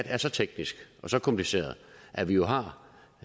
er så teknisk og så kompliceret at vi har